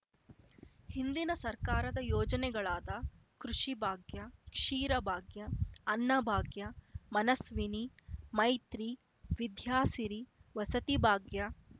ಹಿಂದಿನ ಸರ್ಕಾರದ ಯೋಜನೆಗಳಾದ ಕೃಷಿಭಾಗ್ಯ ಕ್ಷೀರಭಾಗ್ಯ ಅನ್ನಭಾಗ್ಯ ಮನಸ್ವಿನಿ ಮೈತ್ರಿ ವಿದ್ಯಾಸಿರಿ ವಸತಿಭಾಗ್ಯ